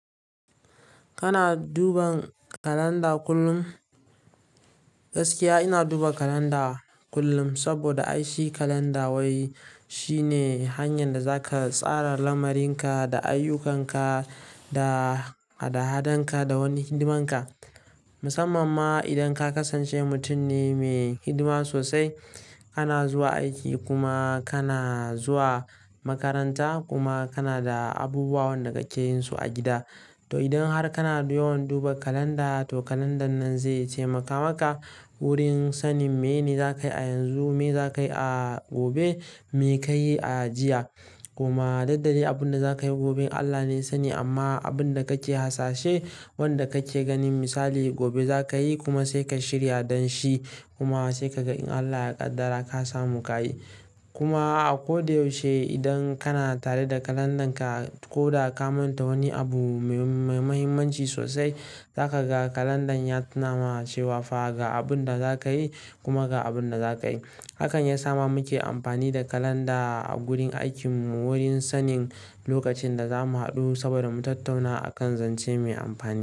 Kana duba kalanda kullum? Gaskiya ina duba kalanda kullum saboda aiki kalanda wai shine hanyar da zaka tsara lamarin ka da ayyukanka da hada-hadanka da wani hidimanka. Musamman ma idan ka kasance mutum ne me hidima sosai, kana zuwa aiki kuma kana zuwa makaranta kuma kana da abubuwan da kake yinsu a gida. To idan har kana yawan duba kalanda to kalandan nan zai taimaka maka wurin sanin mene zakai a yanzu, me zakai a gobe, me kayi a jiya. Kuma daddare abunda zakayi gobe Allah ne sani amma abunda kake hasashe, wanda kake ganin misali gobe zakayi kuma sai ka shirya don shi kuma sai ka ga in Allah ya kaddara ka samu kayi. Kuma a koda yaushe idan kana tare da kalandanka ko da ka manta wani abu me muhimmanci sosai, zaka ga kalandan ya tunawa cewa fa ga abunda zakayi kuma ga abunda zakayi. Hakan ya sa muke amfani da kalanda a gurin aikinmu wurin sanin lokacin da zamu haɗu saboda mu tattauna a kan zance mai amfani.